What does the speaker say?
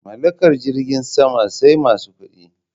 Mallakar jirgin sama sai masu kuɗi